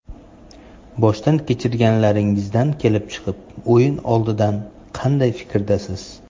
Boshdan kechirganlaringizdan kelib chiqib, o‘yin oldidan qanday fikrdasiz?